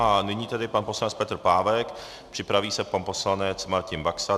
A nyní tedy pan poslanec Petr Pávek, připraví se pan poslanec Martin Baxa.